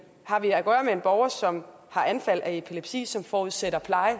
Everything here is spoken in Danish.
har vi at gøre med en borger som har anfald af epilepsi som forudsætter pleje